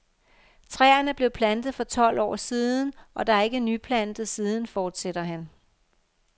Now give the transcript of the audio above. Træerne blev plantet for tolv år siden, og der er ikke nyplantet siden, fortsætter han.